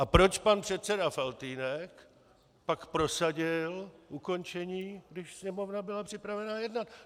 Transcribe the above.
A proč pan předseda Faltýnek pak prosadil ukončení, když Sněmovna byla připravena jednat?